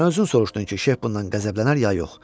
Sən özün soruşdun ki, Şeyx bundan qəzəblənər ya yox?